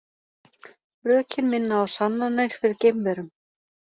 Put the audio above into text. Rökin minna á sannanir fyrir geimverum